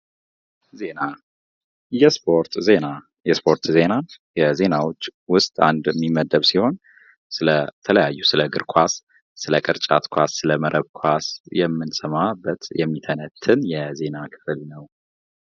ዜና የስፖርት ዜና የስፖርት ዜና ከዜናዎች ዉስጥ አንድ የሚመደብ ሲሆን ስለተለያዩ ስለ እግር ኳስ፣ ስለ ቅርጫት ኳስ፣ ስለ መረብ ኳስ የምንሰማበት የሚተነትን የዜና ክፍል ነው።